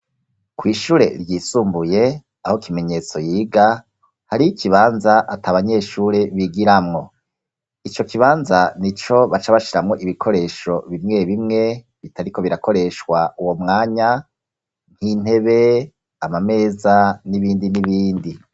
kw’ishure ryisumbuye aho kimenyetso yiga hari ikibanza ata abanyeshure bigiramwo ico kibanza ni co baca bashiramo ibikoresho bimwe bimwe bitariko birakoreshwa uwo mwanya, nk'intebe amameza n'ibindi n'ibindi.